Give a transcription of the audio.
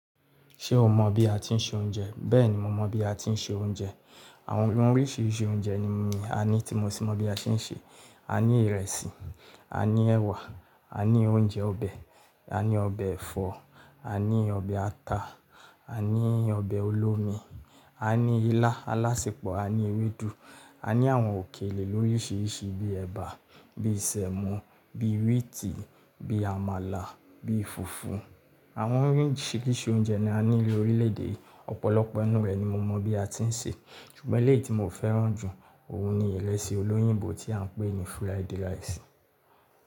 Ṣé o mọ bí a ti ń se oúnjẹ? Bẹ́ẹ̀ni, mo mọ bí a ti ń se oúnjẹ. Àwọn oríṣi oúnjẹ ni a ní tí mo sì mọ bí a ṣe ń ṣe. A ní ìrẹsì, a ní ẹ̀wà, a ní oúnjẹ ọbẹ̀, a ní ọbẹ̀ ẹ̀fọ́, a ní ọbẹ̀ ata, a ní ọbẹ̀ olómi, a ní ilá alásepọ̀, a ní ewédú, a ní àwọn òkèlè lóríṣiríṣi bíi ẹ̀bà, bíi sẹ́mọ̀, bíi wíìtì, bíi àmàlà, bíi fùfú. Àwọn oríṣiríṣi oúnjẹ ni a ní ní orílè-èdè. Ọ̀pọ̀lọpọ̀ nínú rẹ̀ ni mo mọ bí a ti ń ṣe. Sùgbọ̀n éléyì ti mo fẹ́ràn jù, òun ni ìrẹsì olóyìnbó tí a n pè ní fried rice.